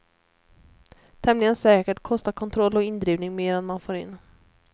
Tämligen säkert kostar kontroll och indrivning mer än man får in.